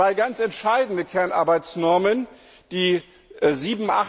Zwei ganz entscheidende Kernarbeitsnormen Nr.